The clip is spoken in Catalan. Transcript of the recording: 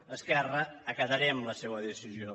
a esquerra acatarem la seua decisió